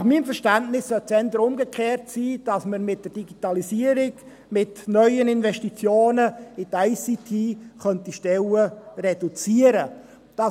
– Nach meinem Verständnis sollte es eher umgekehrt sein, nämlich, dass man mit der Digitalisierung, mit neuen Investitionen in die ICT, Stellen reduzieren könnte.